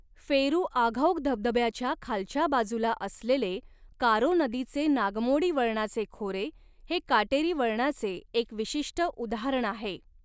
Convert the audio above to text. फेरूआघौघ धबधब्याच्या खालच्या बाजूला असलेले कारो नदीचे नागमोडी वळणाचे खोरे हे काटेरी वळणाचे एक विशिष्ट उदाहरण आहे.